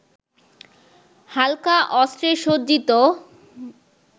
হালকা অস্ত্রে সজ্জিত